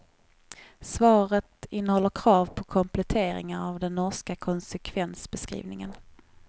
Svaret innehåller krav på kompletteringar av den norska konsekvensbeskrivningen.